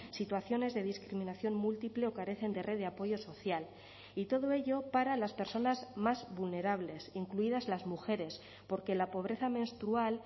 situaciones de discriminación múltiple o carecen de red de apoyo social y todo ello para las personas más vulnerables incluidas las mujeres porque la pobreza menstrual